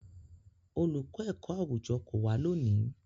Olùkọ́ ẹ̀kọ́-àwùjọ kò wá lónìí.